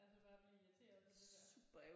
Ja så bare at blive irriteret på det der